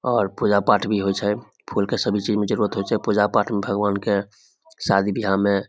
और पूजा-पाठ भी होय छै फूल के सभी चीज़ में जरुरत होय छै पूजा-पाठ में भगवान के शादी-ब्याह में।